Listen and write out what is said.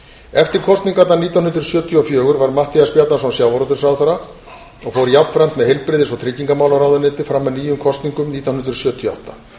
eftir kosningarnar nítján hundruð sjötíu og fjögur varð matthías bjarnason sjávarútvegsráðherra og fór jafnframt með heilbrigðis og tryggingamálaráðuneytið fram að nýjum kosningum nítján hundruð sjötíu og átta